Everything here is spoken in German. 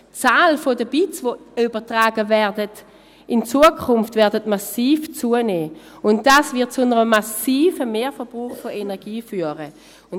Die Zahl der Bits, die übertragen werden, wird in Zukunft massiv zunehmen, und dies wird zu einem massiven Mehrverbrauch von Energie führen.